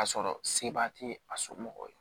Ka sɔrɔ seba tɛ a somɔgɔw ye